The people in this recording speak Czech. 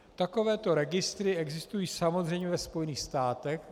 Takovéto registry existují samozřejmě ve Spojených státech.